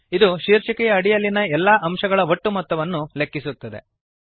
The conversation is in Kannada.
ಇದು ಶೀರ್ಷಿಕೆಯ ಅಡಿಯಲ್ಲಿನ ಎಲ್ಲಾ ಅಂಶಗಳ ಒಟ್ಟು ಮೊತ್ತವನ್ನು ಲೆಕ್ಕಿಸುತ್ತದೆ